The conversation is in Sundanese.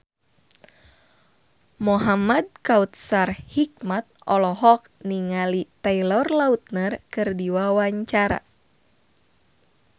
Muhamad Kautsar Hikmat olohok ningali Taylor Lautner keur diwawancara